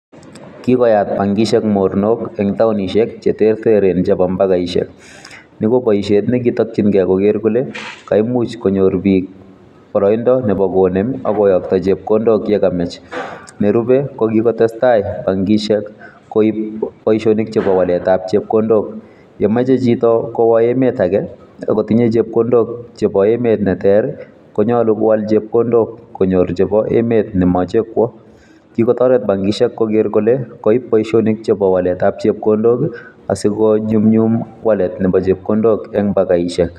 Kikoyat bankishek monornok eng townishek cheterter en chepo mbakaiseik niko boisiet nekitokyinge koker kole kaimuch konyor biik boroindo nepo konem ak koyokto chepkondok yekamach nerube kokikotestaa bankishek koip boisionik chepo waletab chepkondok yemoche chito kowoo emet ake akotinye chepkondok konyor chepo emet nemoche kwo kikotoret bankishek ipokoker kole koip boisionik chhepo waletab chepkondok asikonyumnyum walet nepo chepkondok en mbakaisiek.